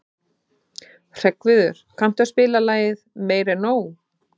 Hreggviður, kanntu að spila lagið „Meira En Nóg“?